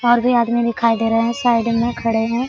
और भी आदमी दिखाई दे रहे है साइड में खड़े है।